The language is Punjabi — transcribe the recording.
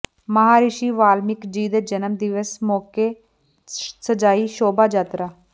ਮਹਾਰਿਸ਼ੀ ਵਾਲਮੀਕਿ ਜੀ ਦੇ ਜਨਮ ਦਿਵਸ ਮੌਕੇ ਸਜਾਈ ਸ਼ੋਭਾ ਯਾਤਰਾ